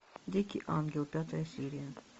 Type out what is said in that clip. дикий ангел пятая серия